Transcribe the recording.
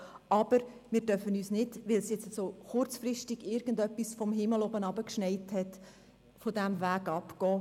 Aber wir dürfen jetzt nicht, weil es kurzfristig irgendetwas vom Himmel herunter geschneit hat, von diesem Weg abkommen.